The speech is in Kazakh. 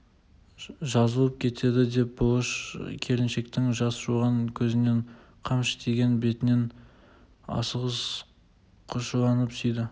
жазылып кетеді деп бұлыш келіншектің жас жуған көзінен қамшы тиген бетінен асығыс құшырланып сүйді